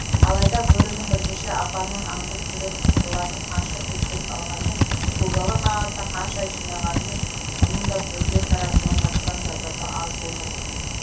алайда бөрінің бірнеше апанын аңдып жүріп тыпырлатып қанша бөлтірік алғанмен көгала қағазды қанша жинағанмен мұның да бөрілер тарапынан тартқан зардабы аз болмайтын